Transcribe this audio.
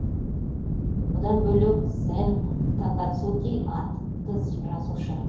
бұдан бөлек сэн такацуки атты жазушы